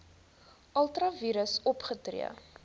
ultra vires opgetree